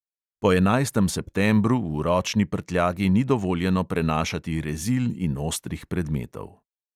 Po enajstem septembru v ročni prtljagi ni dovoljeno prenašati rezil in ostrih predmetov.